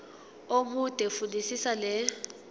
omude fundisisa le